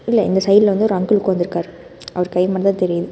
சைடுல இந்த சைடுல வந்து ஒரு அங்கிள் உக்காந்துருக்காரு அவர் கை மட்டும் தா தெரியுது.